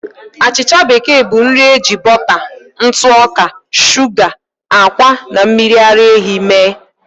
Achịcha bekee bụ nri eji bọta, ntụ ọka, shuga, ákwà, na mmiri ara ehi mee.